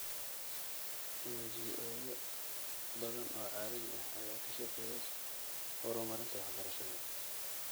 NGO-yo badan oo caalami ah ayaa ka shaqeeya horumarinta waxbarashada .